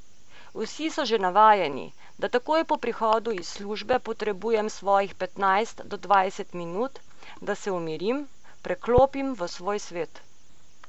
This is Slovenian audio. Vsi so že navajeni, da takoj po prihodu iz službe potrebujem svojih petnajst do dvajset minut, da se umirim, preklopim v svoj svet.